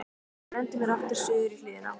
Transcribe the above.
Ég renndi mér aftur suður í hlíðina.